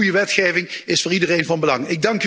Goede wetgeving is voor iedereen van belang.